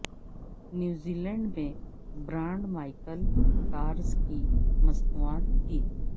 نیوزی لینڈز میں brand Michael cars کی مصنوعات تھی